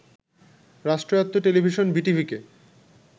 রাষ্ট্রয়াত্ত্ব television বিটিভিকে